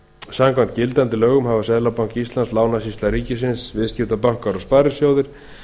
samkvæmt gildandi lögum hafa seðlabanki íslands lánasýsla ríkisins viðskiptabankar og sparisjóðir